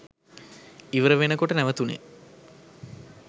ඉවර වෙනකොට නැවතුනේ.